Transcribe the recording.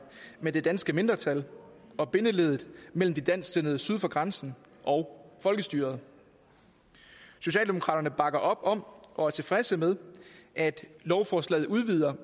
med det danske mindretal og bindeleddet mellem de dansksindede syd for grænsen og folkestyret socialdemokraterne bakker op om og er tilfredse med at lovforslaget udvider